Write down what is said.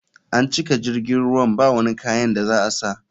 An cika jirgin ruwan bawani kayan da za a sa.